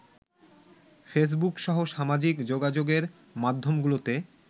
ফেসবুকসহ সামাজিক যোগাযোগের মাধ্যমগুলোতে